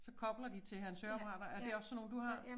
Så kobler de til hans høreapparater er det også sådan nogle du har?